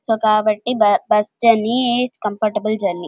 So కాబట్టి bus journey comparable journey .